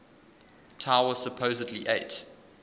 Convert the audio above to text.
tower supposedly ate